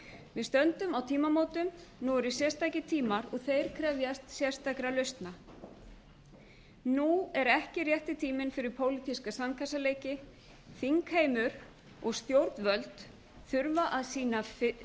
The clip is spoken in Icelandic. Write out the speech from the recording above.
við stöndum á tímamótum nú eru sérstakir tímar og þeir krefjast sérstakra lausna nú er ekki rétti tíminn fyrir pólitíska sandkassaleiki þingheimur og stjórnvöld þurfa að sýna